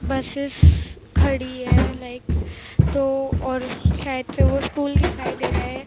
Buses खड़ी है like तो और शायद से वो स्कूल दिखाई दे रहा है।